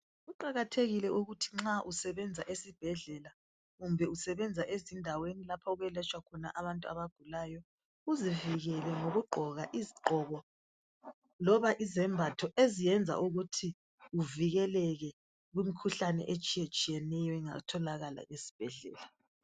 Kuqakathekile ukuthi nxa usenza esibhedlela kumbe usebenza ezindaweni lapho okweletshwa khona abantu abagulayo uzivikele ngokugqoka izigqoko loba izembatho eziyenza ukuthi uvikeleke kumkhuhlane etshiya-tshiyeneyo engatholakala esibhedlela